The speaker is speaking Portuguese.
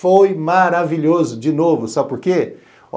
Foi maravilhoso, de novo, sabe por quê?